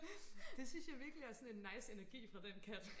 det synes jeg virkelig er sådan en nice energi fra den kat